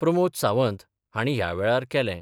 प्रमोद सावंत हांणी ह्या वेळार केलें.